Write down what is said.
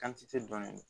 dɔn de do